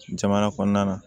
Jamana kɔnɔna na